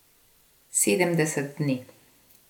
Sedemdeset dni.